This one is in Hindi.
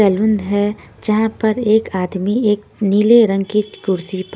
हैं जहां पर एक आदमी एक नीले रंग की कुर्सी।